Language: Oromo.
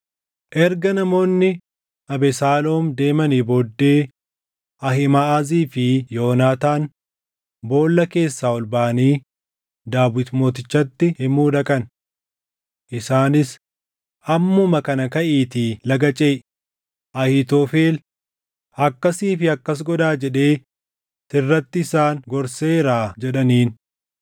Erga namoonni Abesaaloom deemanii booddee Ahiimaʼazii fi Yoonaataan boolla keessaa ol baʼanii Daawit mootichatti himuu dhaqan. Isaanis, “Ammuma kana kaʼiitii laga ceʼi; Ahiitofel, ‘Akkasii fi akkas godhaa’ jedhee sirratti isaan gorseeraa” jedhaniin.